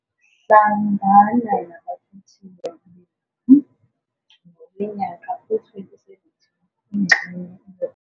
Hlangana nabakhethiwe bethu ngowe-2017, ingxenye 1.